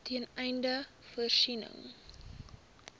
ten einde voorsiening